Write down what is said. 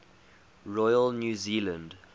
royal new zealand